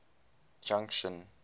junction